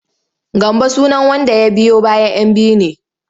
Gambo sunan wanda ya biyo bayan 'yan biyu ne.